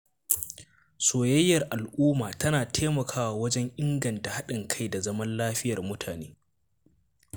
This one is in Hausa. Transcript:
Soyayyar al’umma tana taimakawa wajen inganta haɗin kai da zaman lafiyar mutane.